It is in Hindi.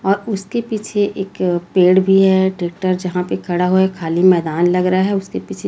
और उसके पीछे एक पेड़ भी है ट्रैक्टर जहां पे खड़ा हुआ है खाली मैदान लग रहा है उसके पीछे--